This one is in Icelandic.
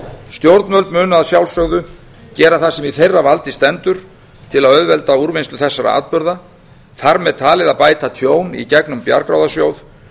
stjórnvöld munu að sjálfsögðu gera það sem í þeirra valdi stendur til að auðvelda úrvinnslu þessara atburða þar með talið að bæta tjón í gegnum bjargráðasjóð